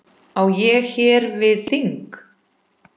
Á ég hér við þing.